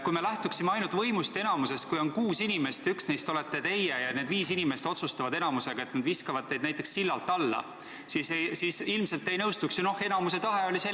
Kui me lähtuksime ainult võimust ja enamusest, siis oleks nii, et kui on kuus inimest ja üks neist olete teie ja need viis inimest otsustavad häälteenamusega, et nad viskavad teid näiteks sillalt alla, siis ilmselt te ei nõustuks ega ütleks: "Nojah, enamiku tahe oli selline.